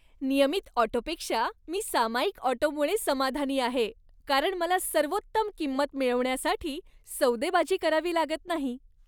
नियमित ऑटोपेक्षा मी सामायिक ऑटोमुळे समाधानी आहे, कारण मला सर्वोत्तम किंमत मिळवण्यासाठी सौदेबाजी करावी लागत नाही.